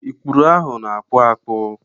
Ikpụrụ ahụ na-akpụ akpụ.